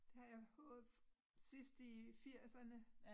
Det har jeg fået sidst i firserne